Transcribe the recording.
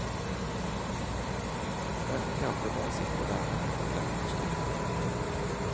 Mange gamle bare sitter der og hekler og strikker.